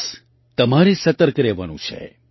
બસ તમારે સતર્ક રહેવાનું છે